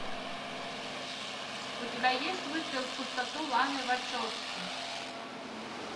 у тебя есть выстрел в пустоту ланы вачовски